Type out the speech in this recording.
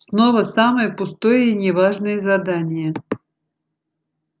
снова самое пустое и не важное задание